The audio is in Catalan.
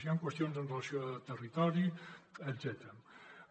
hi ha qüestions amb relació a territori etcètera